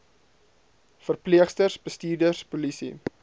verpleegsters bestuurders polisie